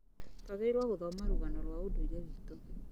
Twagĩrĩirwo gũthomarũgano rwa ũndũire witũ